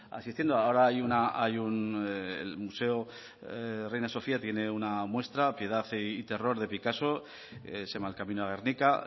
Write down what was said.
asistiendo ahora hay un el museo reina sofía tiene una muestra se llama piedad y terror de picasso el camino a guernica